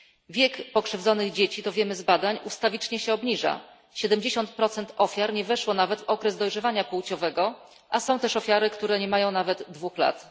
Wiek pokrzywdzonych dzieci to wiemy z badań ustawicznie się obniża 70 ofiar nie weszło nawet w okres dojrzewania płciowego, a są też ofiary, które nie mają nawet dwóch lat.